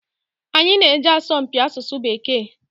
Anyị na-eje asọmpi asụsụ Bekee.